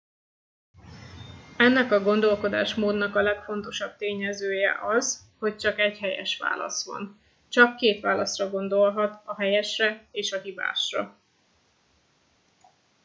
ennek a gondolkodásmódnak a legfontosabb tényezője az hogy csak egy helyes válasz van csak két válaszra gondolhat a helyesre és a hibásra